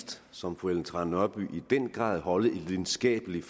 som fru ellen trane nørby i den grad holde et lidenskabeligt